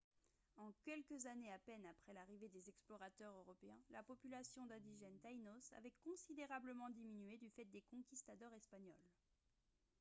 en quelques années à peine après l'arrivée des explorateurs européens la population d'indigènes taïnos avait considérablement diminué du fait des conquistadors espagnols